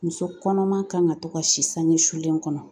Muso kɔnɔma kan ka to ka si sange sulen kɔnɔ